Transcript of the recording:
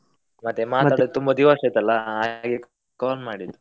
ಮತ್ತೆ ಮಾತಡದೆ ತುಂಬಾ ದಿವಸ ಆಯ್ತಲ್ಲ ಹಾಗೆ call ಮಾಡಿದ್ದು.